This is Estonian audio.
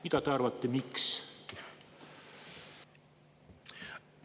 Mis te arvate, miks?